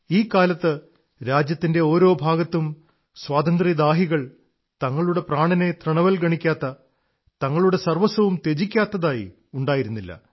ഈ കാലത്ത് രാജ്യത്തിന്റെ ഒരുഭാഗവും സ്വാതന്ത്ര്യദാഹികൾ തങ്ങളുടെ പ്രാണനെ തൃണവല്ഗണിക്കാത്ത തങ്ങളുടെ സർവ്വസ്വവും ത്യജിക്കാത്തതായി ഉണ്ടായിരുന്നില്ല